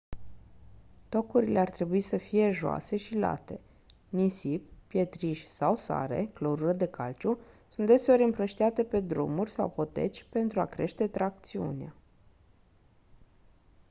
tocurile ar trebui să fie joase și late. nisip pietriș sau sare clorură de calciu sunt deseori împrăștiate pe drumuri sau poteci pentru a crește tracțiunea